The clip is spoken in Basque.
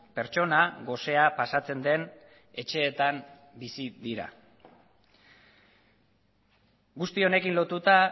pertsona gosea pasatzen den etxeetan bizi dira guzti honekin lotuta